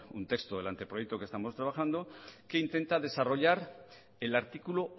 un texto del anteproyecto que estamos trabajando que intenta desarrollar el artículo